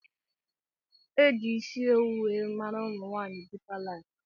Eji isi owu wee maara umunwaanyi dipa lifu.